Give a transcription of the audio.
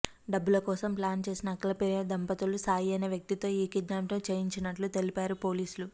డబ్బుల కోసం ప్లాన్ చేసిన అఖిలప్రియ దంపతులు సాయి అనే వ్యక్తితో ఈ కిడ్నాప్ చేయించినట్లు తెలిపారు పోలీసులు